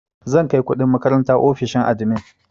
Zan kai kuɗin makaranta ofishin admin.